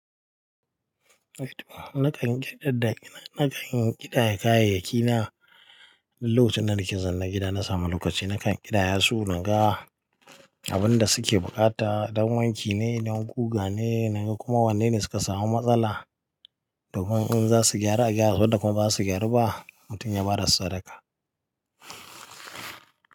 Nakan ƙidaya kayayyaki na, duk lokacin da nake zan ne gida na sami lokaci nakan ƙidaya su na ga abin da suke buƙata, don wanki ne, don guga ne, na ko kuma wanne ne suka samu matsala domin in za su gyaru a gyara su wanda kuma ba zasu gyaru ba mutum ya ba da sadaka.